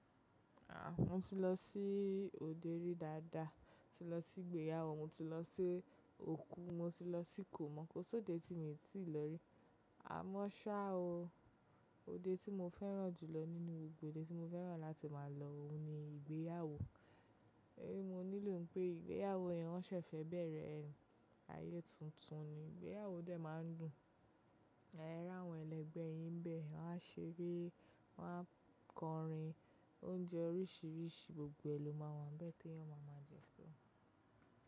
Ah! Mo ti lọ sí òde rí dáadáa, mo ti lọ sí ìgbéyàwó, mo ti lọ sí òkú, mo ti lọ sí ikò'mọ̀ kó sóde tí mo ti lè rí. Àmọ́ ṣá o, òde tí mo fẹ́ràn jù lọ nínú gbogbo òde tí mo fẹ́ràn láti máa lọ ó ní ìgbéyàwó. Mo nílò pé ìgbéyàwó yẹn won ṣẹ̀fẹ̀ bẹ̀rẹ̀ ẹ, ayé tuntun ni ìgbéyàwó dé máa ń dùn. Ẹ̀rà wọ́n ẹlẹgbẹ́ yìn ń bẹ, wọ́n á ṣeré, wọ́n á kọrin, oúnjẹ oríṣiríṣi gbogbo ẹlòmá nwa bẹ́ẹ̀ tí wọ́n máa máa jẹ só.